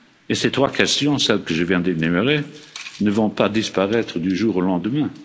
Les trois questions que je viens d'énumérer ne vont pas disparaître du jour au lendemain.